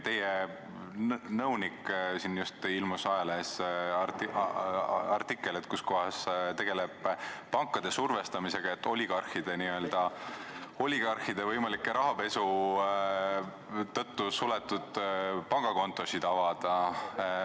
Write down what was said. Teie nõuniku kohta ilmus just ajalehes artikkel, kuidas ta tegeleb pankade survestamisega, et oligarhide võimaliku rahapesu tõttu suletud pangakontosid avada.